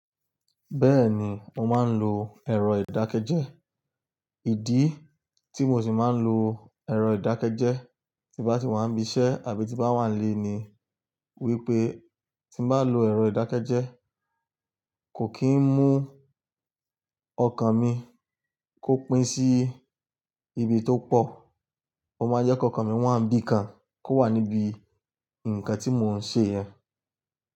Bẹ́ẹ̀ni, mo máa ń lo ẹ̀rọ ìdákẹ́jẹ́. Ìdí tí mo sì máa ń lo ẹ̀rọ ìdákẹ́jẹ́ tí bá ti wà níbi iṣẹ́ àbí tí bá wà nílé ni wípé tí bá lo ẹ̀rọ ìdákẹ́jẹ́ kò kí ń mú ọkàn mi kó pín sí ibi tó pọ̀. Ó máa jẹ́ kó ọkàn mi wà ní bí i kan kó wà níbi ǹkan tí mò ń ṣe yẹn.